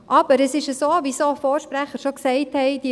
Aber es ist so, wie Vorredner schon gesagt haben: